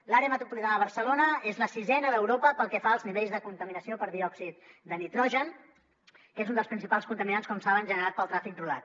l’àrea metropolitana de barcelona és la sisena d’europa pel que fa als nivells de contaminació per diòxid de nitrogen que és un dels principals contaminants com saben generat pel trànsit rodat